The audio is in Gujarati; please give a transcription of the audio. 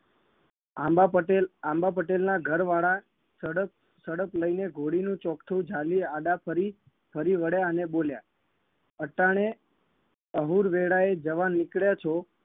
આંબા પટેલ આંબા પટેલના ઘરવાળા સડક સડક લઈને ઘોડીનું ચોકઠું જાલી આડા ફરી ફરી વળ્યા અને બોલ્યા અટાણે અહુર વેળાએ જવા નીકળ્યા છો